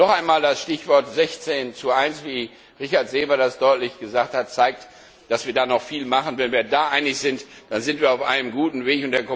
Noch einmal, das Stichwort 16 zu 1 wie Richard Seeber das deutlich gesagt hat zeigt, dass wir da noch viel machen müssen. Wenn wir da einig sind, dann sind wir auf einem guten Weg.